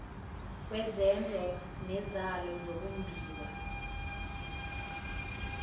yezezwe nezalo zokumbiwa